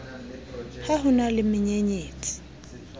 ha ho na le menyenyetsi